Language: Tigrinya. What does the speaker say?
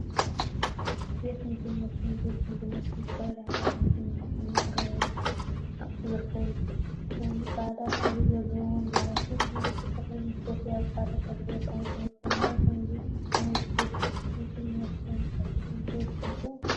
ቤት ምግቢን መስተን ቤት ምግቢን መስተን ዝተፈላለዩ ዓይነታት ምግቢን መስተን መቅረቢ አቁሑ ዝርከበሉ ኮይኑ፤ ፃዕዳ ሕብሪ ዘለዎም ወንበራትን ብርጭቆታትን ምስ ቦፌ አብ ፃዕዳ ጠረጴዛ ተቀሚጦም ይርከቡ፡፡ ናብ ከምዚ ዓይነት ቤት ምግቢን መስተን አቲኩም ዶ ትፈልጡ?